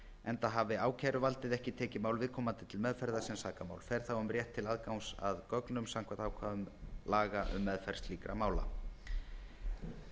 enda hafi ákæruvaldið ekki tekið mál viðkomandi til meðferðar sem sakamál fer þá um rétt til aðgangs að gögnum samkvæmt ákvæðum laga um meðferð slíkra mála